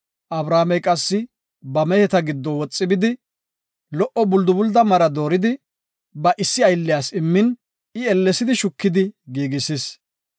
Abrahaamey qassi ba meheta giddo woxi bidi lo77o buldubulda mara dooridi ba issi aylliyas immin I ellesidi shukidi giigisis.